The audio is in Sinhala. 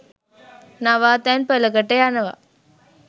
නවාතැන් පලකට යනව